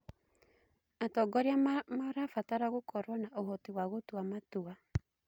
Atongoria marabatara gũkorwo na ũhoti wa gũtua matua.